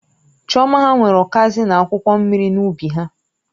Chioma ha nwere ukazi na akwụkwọ mmiri n'ubi ha